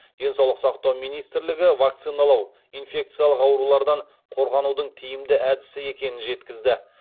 денсаулық сақтау министрлігі вакциналау инфекциялық аурулардан қорғанудың тиімді әдісі екенін жеткізді